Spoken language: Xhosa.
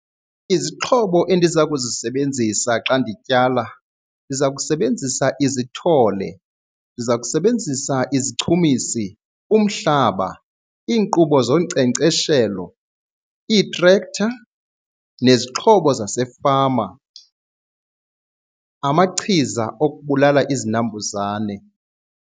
Izixhobo endiza kuzisebenzisa xa ndityala ndiza kusebenzisa izithole, ndiza kusebenzisa izichumisi, umhlaba, iinkqubo zonkcenkceshelo, iitrektha nezixhobo zasefama, amachiza okubulala izinambuzane.